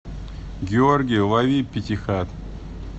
георгий лови пятихат